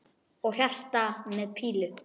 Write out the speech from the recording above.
Og hjarta með pílu!